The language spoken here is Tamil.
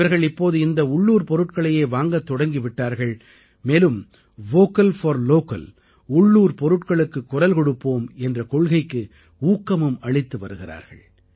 இவர்கள் இப்போது இந்த உள்ளூர் பொருட்களையே வாங்கத் தொடங்கி விட்டார்கள் மேலும் வோக்கல் போர் localஉள்ளூர் பொருட்களுக்குக் குரல் கொடுப்போம் என்ற கொள்கைக்கு ஊக்கமும் அளித்து வருகிறார்கள்